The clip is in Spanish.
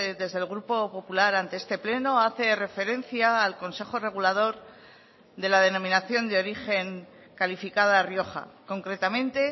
desde el grupo popular ante este pleno hace referencia al consejo regulador de la denominación de origen calificada rioja concretamente